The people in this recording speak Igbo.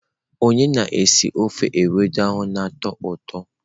Onye na-esi ofe ewedu a na-atọ ụtọ?